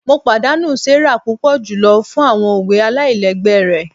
Mo padanu Sarah pupọ julọ fun awọn owe alailẹgbẹ rẹ